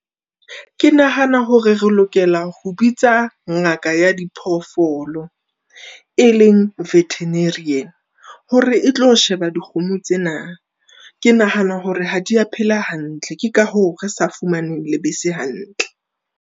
Ke nahana hore re lokela ho bitsa ngaka ya diphoofolo, e leng veterinarian hore e tlo sheba dikgomo tsena. Ke nahana hore ha di a phela hantle, ke ka hoo re sa fumaneng lebese hantle.